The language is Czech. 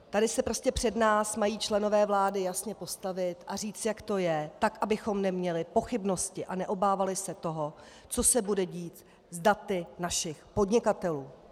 Tady se prostě před nás mají členové vlády jasně postavit a říci, jak to je, tak abychom neměli pochybnosti a neobávali se toho, co se bude dít s daty našich podnikatelů.